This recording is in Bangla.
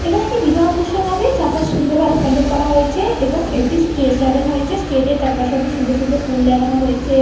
এখানে একটি বিবাহ অনুষ্ঠান হবে। চারপাশ সুন্দর ভাবে প্যান্ডেল করা হয়েছে এবং একটি স্টেজ সাজানো হয়েছে। স্টেজ -এর চারপাশে অনেক সুন্দর সুন্দর ফুল লাগানো হয়েছে।